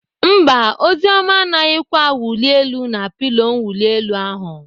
Mba, Oziọma anaghịkwa awụli elu na pilo mwuli elu ahụ.